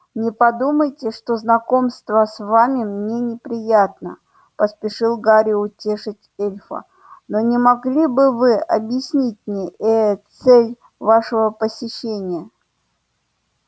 не подумайте что знакомство с вами мне неприятно поспешил гарри утешить эльфа но не могли бы вы объяснить мне ээ цель вашего посещения